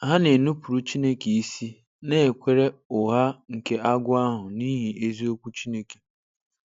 Ha na-enupụrụ Chineke isi, na-ekwere ụgha nke agwọ ahụ n’ihi eziokwu Chineke.